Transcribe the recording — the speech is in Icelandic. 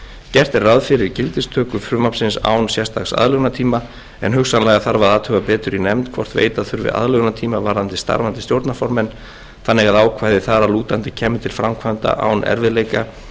gert er ráð fyrir gildistöku frumvarpsins án sérstaks aðlögunartíma en hugsanlega þarf að athuga betur í nefnd hvort veita þurfi aðlögunartíma varðandi starfandi stjórnarformenn þannig að ákvæði þar að lútandi kæmu til framkvæmda án erfiðleika